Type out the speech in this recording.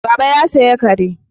Baba ya saya kare